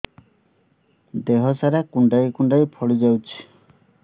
ଦେହ ସାରା କୁଣ୍ଡାଇ କୁଣ୍ଡାଇ ଫଳି ଯାଉଛି